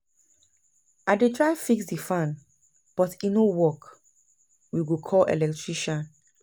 I don try fix di fan, but e no work, we go call electrician.